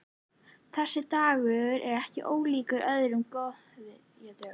Þessi dagur er ekki ólíkur öðrum góðviðrisdögum.